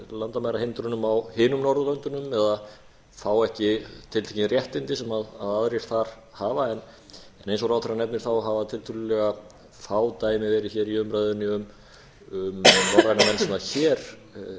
landamærahindrunum á hinum norðurlöndunum eða fá ekki tiltekin réttindi sem aðrir þar hafa en eins og ráðherrann nefnir hafa tiltölulega fá dæmi verið hér í umræðunni um norræna menn sem hér